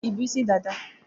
Ịbụ́ isi dada?